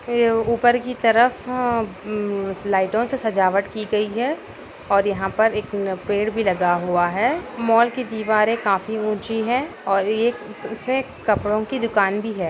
ये ऊपर की तरफ उम लाइटों से सजावट की गई है और यहाँ पर एक न पेड़ भी लगा हुआ है मॉल की दीवारें काफी ऊंची है और ये एक उसमें कपड़ो की दुकान भी है।